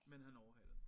Men han overhalede mig